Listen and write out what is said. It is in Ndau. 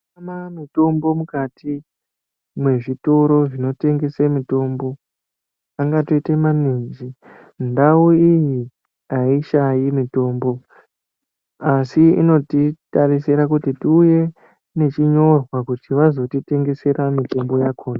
Kutama mitombo mukati mwezvitoro zvinotengese mitombo angatoite maninji ndau iyi aishayi mitombo asi inotitarisire kuti tiuye nechinyorwa kuti vazotitengesera mitombo yakona.